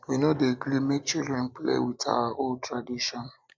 we um no dey gree make children play with our old um traditions